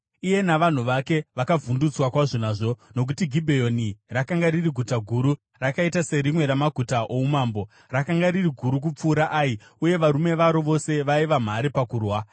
Iye navanhu vake vakavhundutswa kwazvo nazvo, nokuti Gibheoni rakanga riri guta guru, rakaita serimwe ramaguta oumambo; rakanga riri guru kupfuura Ai, uye varume varo vose vaiva mhare pakurwa.